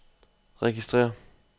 registrér